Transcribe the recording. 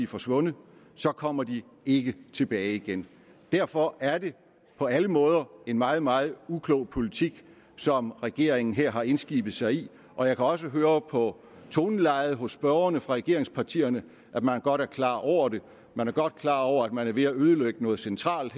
forsvundet kommer de ikke tilbage igen derfor er det på alle måder en meget meget uklog politik som regeringen her har indskibet sig i og jeg kan også høre på tonelejet hos spørgerne fra regeringspartierne at man godt er klar over det man er godt klar over at man er ved at ødelægge noget centralt